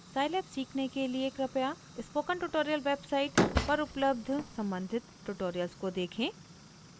scilab सीखने के लिए कृपया स्पोकन ट्यूटोरियल वेबसाइट पर उपलब्ध सम्बंधित ट्यूटोरियल्स को देखें